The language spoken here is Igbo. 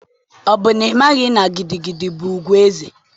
Ọ bụ n'ịmaghị na gidigidi bụ ùgwù ezé?